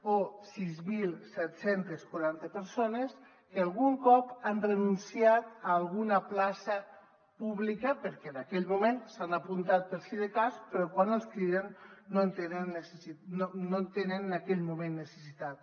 o sis mil set cents i quaranta persones que algun cop han renunciat a alguna plaça pública perquè en aquell moment s’hi han apuntat per si de cas però quan els criden no en tenen en aquell moment necessitat